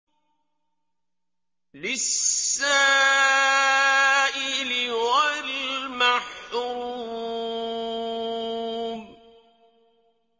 لِّلسَّائِلِ وَالْمَحْرُومِ